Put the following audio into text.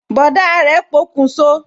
Bọ̀dá rẹ pokun so